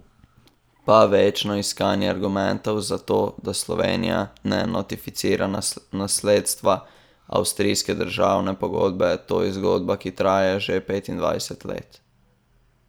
Pa večno iskanje argumentov za to, da Slovenija ne notificira nasledstva avstrijske državne pogodbe, to je zgodba, ki traja že petindvajset let.